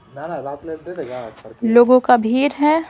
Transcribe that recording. लोगों का भीर है।